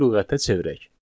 Lüğətə çevirək.